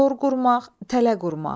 Tor qurmaq, tələ qurmaq.